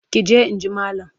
Ki je in ji malam!